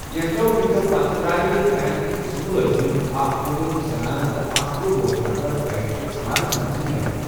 کیٚنٛژو مِنٹو پتہٕ، درٛایہِ بیٚنٛکٕکہِ زٕ مُلٲزِم، اَکھ ۄہُ ؤرِش زنانہٕ ، تہٕ اَکھ تٔرہ وُہُر نَفر بیٚنٛکچہِ عمارٕژ منٛزٕ نیٚبَر۔